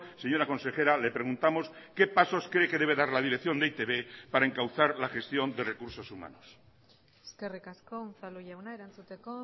señora consejera le preguntamos qué pasos cree que debe dar la dirección de e i te be para encauzar la gestión de recursos humanos eskerrik asko unzalu jauna erantzuteko